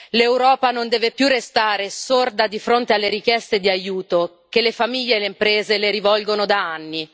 L'Europa non deve più restare sorda di fronte alle richieste di aiuto che le famiglie e le imprese le rivolgono da anni.